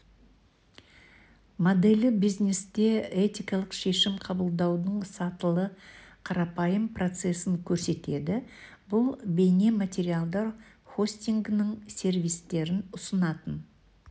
моделі бизнесте этикалық шешім қабылдаудың сатылы қарапайым процесін көрсетеді бұл бейнематериалдар хостингінің сервистерін ұсынатын